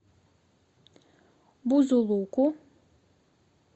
бузулуку